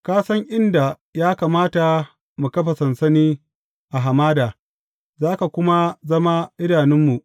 Ka san inda ya kamata mu kafa sansani a hamada, za ka kuma zama idanunmu.